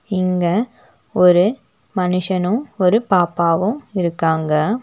இங்க ஒரு மனுஷனும் ஒரு பாப்பாவும் இருக்காங்க.